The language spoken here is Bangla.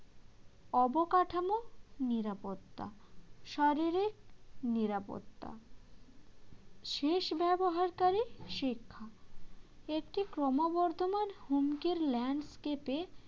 অবকাঠামো নিরাপত্তা শারীরিক নিরাপত্তা শেষ ব্যবহারকারী শিক্ষা একটি ক্রমবর্ধমান হুমকির landscape এ